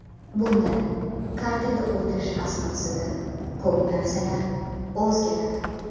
Bundan kartaga o‘tish asnosida ko‘p narsalar o‘zgaradi.